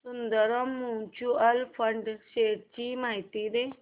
Sundaram mutual fund shares ची माहिती दे